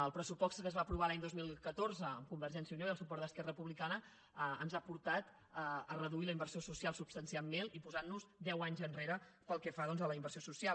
el pressupost que es va aprovar l’any dos mil catorze amb convergència i unió i el suport d’esquerra republicana ens ha portat a reduir la inversió social substancialment i posar nos deu anys enrere pel que fa a la inversió social